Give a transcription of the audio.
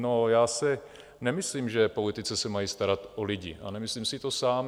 No já si nemyslím, že politici se mají starat o lidi, a nemyslím si to sám.